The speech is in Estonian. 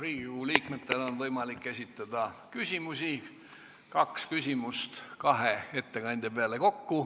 Riigikogu liikmetel on võimalik esitada küsimusi, kokku kaks küsimust kahe ettekandja peale.